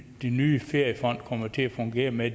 nye feriefond kommer til at fungere med